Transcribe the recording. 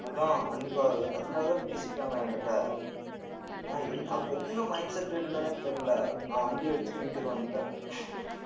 அதான் அன்னைக்கு அது மாதிரிதான் பேசிட்டாங்க என்கிட்ட நான் என் அப்ப என்ன mindset இருந்தன்னே தெரியலே நான் வண்டி எடுத்துட்டு வீட்டுக்கு வந்துட்டேன்